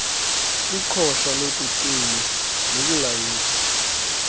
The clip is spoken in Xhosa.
iqosha lokucima nokulayita